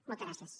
moltes gràcies